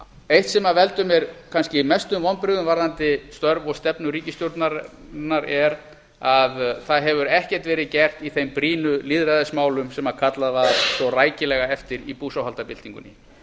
eitt sem veldur mér kannski mestum vonbrigðum varðandi störf og stefnu ríkisstjórnarinnar er að ekkert hefur verið gert í þeim brýnu lýðræðismálum sem kallað var svo rækilega eftir í búsáhaldabyltingunni